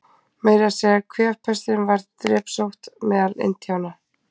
Meira að segja kvefpestin varð drepsótt meðal Indíána.